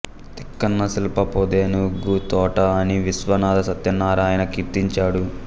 తిక్కన శిల్పపుఁ ధెనుఁగు తోఁట అని విశ్వనాధ సత్యనారాయణ కీర్తించాడు